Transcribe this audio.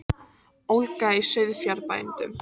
Ólga í sauðfjárbændum